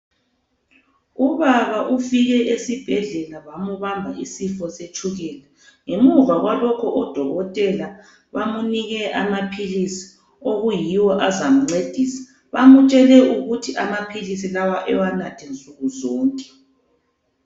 Ubaba ufike esibhedlela bamubamba isifo setshukela. Ngemuva kwalokho udokotela bamunike amaphilisi okuyiwo azamncedisa, bamutshele ukuba amaphilisi lawa ewanathe nsukuzonke.